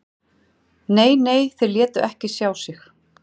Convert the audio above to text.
Nei, nei, þeir létu ekki sjá sig